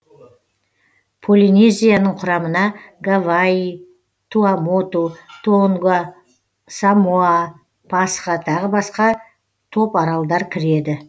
полинезияның құрамына гавайи туамоту тонга самоа пасха тағы басқа топаралдар кіреді